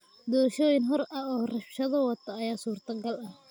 Doorashooyin xor ah oo rabshado wata ayaa suurtagal ah.